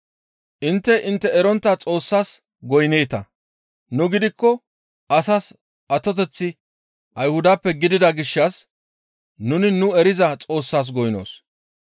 Intte intte erontta Xoossas goynneeta; nu gidikko asas atoteththi Ayhudappe gidida gishshas nuni nu eriza Xoossas goynnoos.